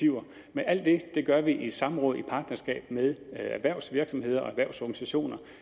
men alt det gør vi i samråd og partnerskab med erhvervsvirksomheder og erhvervsorganisationer